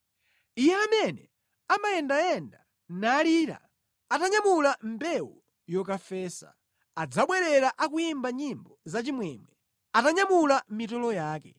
Iye amene amayendayenda nalira, atanyamula mbewu yokafesa, adzabwerera akuyimba nyimbo zachimwemwe, atanyamula mitolo yake.